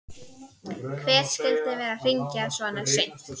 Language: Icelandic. Hver skyldi vera að hringja svona seint?